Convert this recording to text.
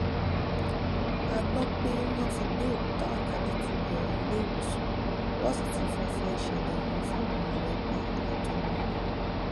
a gbọ pé wọn ti gbé òkú táwákálítu lọọ iléewòsàn wọn sì ti fọfọ ìṣẹlẹ yìí fáwọn mọlẹbí àtọmọ rẹ